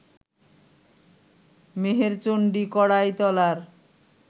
মেহেরচণ্ডী কড়াই তলার